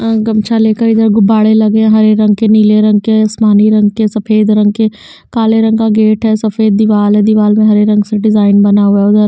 ए गमछा लेकर इधर गुब्बारे लगे हैं हरे रंग के नीले रंग के आसमानी रंग के सफेद रंग के काले रंग का गेट है सफेद दीवाल है दीवार में हरे रंग से डिजाइन बना हुआ हैउधर--